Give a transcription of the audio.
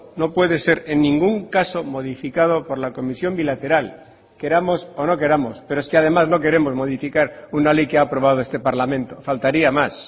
no puede ser en ningún caso modificado por la comisión bilateral queramos o no queramos pero es que además no queremos modificar una ley que ha aprobado este parlamento faltaría más